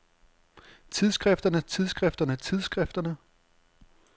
tidsskrifterne tidsskrifterne tidsskrifterne